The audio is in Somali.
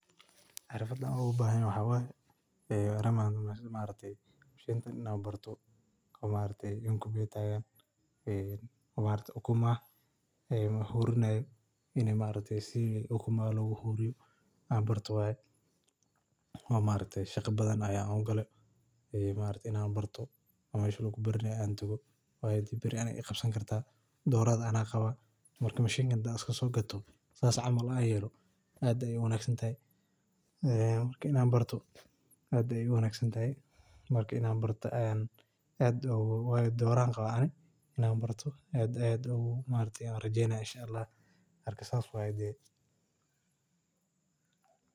(machine) taan ina barto ukumaha hurinayo oo chaqa badan ugalo oo barto mesha lagubaranayo tago beri igabsan karto dhoro ayan qaba (machine) taan sogato ina barto aad uwanagsante ilen dhora ayan qaba ina barto rejenaya